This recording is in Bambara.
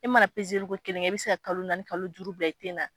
E mana ko kelen kɛ, e bɛ se ka kalo naani kalo duuru bila i ten na.